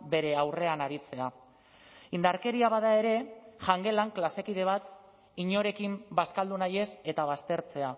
bere aurrean aritzea indarkeria bada ere jangelan klase kide bat inorekin bazkaldu nahi ez eta baztertzea